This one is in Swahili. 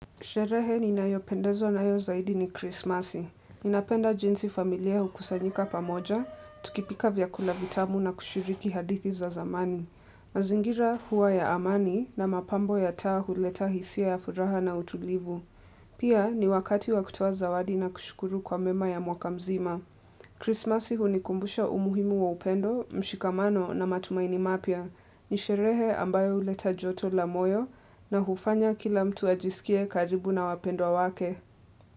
Sherehe ninayopendezwa nayo zaidi ni krismasi. Ninapenda jinsi familia hukusanyika pamoja, tukipika vyakula vitamu na kushiriki hadithi za zamani. Mazingira hua ya amani na mapambo ya taa huleta hisia ya furaha na utulivu. Pia ni wakati wa kutoa zawadi na kushukuru kwa mema ya mwaka mzima. Krismasi hunikumbusha umuhimu wa upendo, mshikamano na matumaini mapya. Ni sherehe ambayo huleta joto la moyo na hufanya kila mtu ajisikie karibu na wapendwa wake.